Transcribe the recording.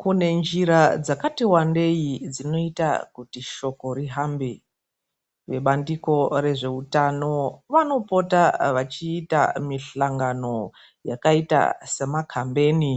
Kune njira dzakati wandei dzinoita kuti shoko rihambe. Vebandiko rezve hutano vanopota vachiita misangano yakaita semakambeni